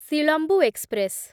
Silambu express